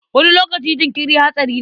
Wani lokaci jinkiri hatsari ne.